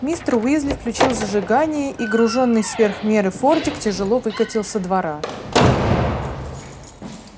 мистер уизли включил зажигание и гружённый сверх меры фордик тяжело выкатил со двора